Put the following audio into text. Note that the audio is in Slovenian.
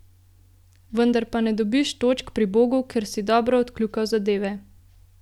Vendar ne dobiš točk pri Bogu, ker si dobro odkljukal zadeve.